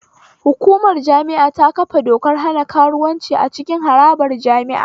Hukumar jami'a ta kafa dokar hana karuwanci a cikin harabar jami'a